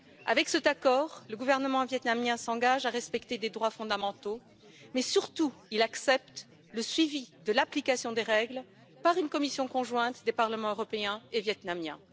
Avec cet accord, le gouvernement vietnamien s'engage à respecter les droits fondamentaux et surtout, il accepte le suivi de l'application des règles par une commission conjointe des parlements européen et vietnamien.